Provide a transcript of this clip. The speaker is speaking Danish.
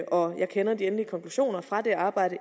og jeg kender de endelige konklusioner fra det arbejde